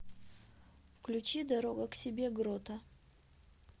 включи дорога к себе грота